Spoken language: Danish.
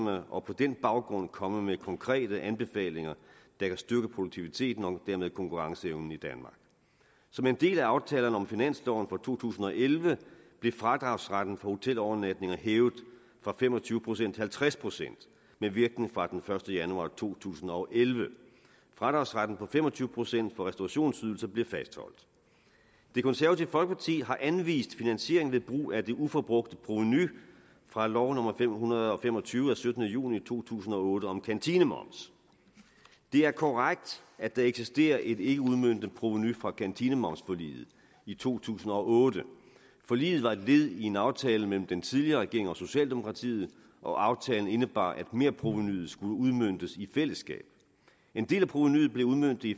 og på den baggrund komme med konkrete anbefalinger der kan styrke produktiviteten og dermed konkurrenceevnen i danmark som en del af aftalerne om finansloven for to tusind og elleve blev fradragsretten for hotelovernatninger hævet fra fem og tyve procent til halvtreds procent med virkning fra den første januar to tusind og elleve fradragsretten på fem og tyve procent for restaurationsydelser blev fastholdt det konservative folkeparti har anvist finansiering ved brug af det uforbrugte provenu fra lov nummer l fem hundrede og fem og tyve af syttende juni to tusind og otte om kantinemoms det er korrekt at der eksisterer et ikkeudmøntet provenu fra kantinemomsforliget i to tusind og otte forliget var et led i en aftale mellem den tidligere regering og socialdemokratiet og aftalen indebar at merprovenuet skulle udmøntes i fællesskab en del af provenuet blev udmøntet i